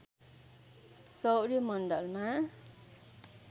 सौर्य मण्डलमा